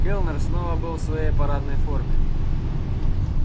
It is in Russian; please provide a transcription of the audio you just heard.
кэллнер снова был в своей парадной форме